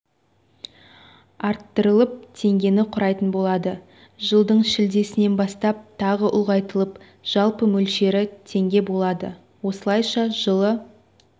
арттырылып теңгені құрайтын болады жылдың шілдесінен бастап тағы ұлғайтылып жалпы мөлшері теңге болады осылайша жылы